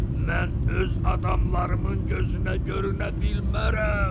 Mən öz adamlarımın gözünə görünə bilmərəm.